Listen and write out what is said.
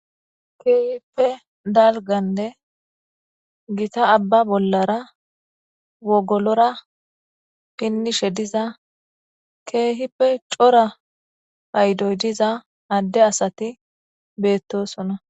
keehippe dalganne gita abba bollara wogolora pinnishe diza keehippe cora haydoy diza adde asati beettosona